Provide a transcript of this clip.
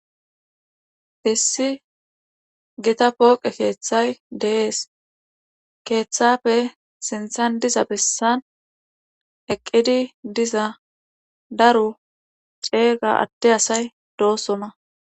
Issi githa pooqe keethay de7es keethappe sinthan diza bessan eqqidi diza daro ceega adde asay doosona.